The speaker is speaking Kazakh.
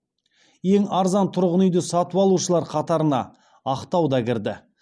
ең арзан тұрғын үйді сатып алушылар қатарына ақтау да кірді